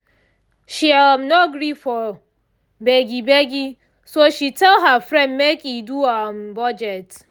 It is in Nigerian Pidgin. she um no gree for begi begi so she tell her friend make e do um budget